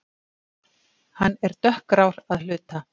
Hann er dökkgrár að hluta